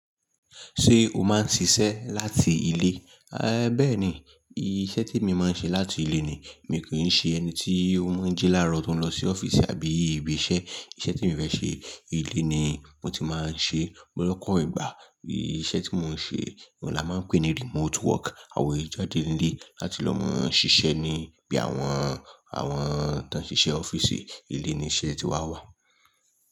Ṣé o máa ń ṣiṣẹ́ láti ilé? Ẹ béẹ̀ ni, iṣẹ́ tí mo máa ń ṣe láti ilé ni. Mi kì í ṣe ẹni tí ó máa ń ji láárò tó ń lọ sí ọ́fíìsì àbí ibi iṣẹ́. Iṣẹ́ tí mo fẹ́ ṣe, ilé ni mo ti máa ń ṣe. Lọ́pọ̀ ìgbà, iṣẹ́ tí mò ń ṣe rẹ̀ la máa ń pè ní remote work àwa o ki n jàde ní ilé láti lọ máa ń ṣiṣẹ́ níbí àwọn, àwọn tó ń ṣiṣẹ́ ọ́fíìsì. Ilé ni iṣẹ́ tí wa wà.